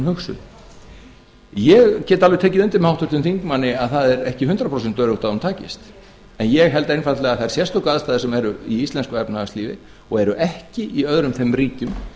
hugsuð ég get alveg tekið undir með háttvirtum þingmanni að það er ekki hundrað prósent öruggt að hún takist en ég held einfaldlega að þær sérstöku aðstæður sem eru í íslensku efnahagslífi og eru ekki í öðrum þeim ríkjum